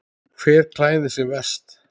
Hver klæðir sig verst?